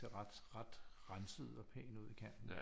Ser ret ret renset ud og pæn ud i kanten